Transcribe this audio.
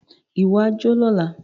Wà á jó lọla!